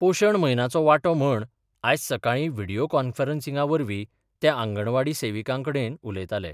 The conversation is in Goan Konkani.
पोषण म्हयनाचो वांटो म्हण आयज सकाळी व्हिडीयो कॉन्फरन्सिंगवरवी ते आंगणवाडी सेविकांकडेन उलयताले.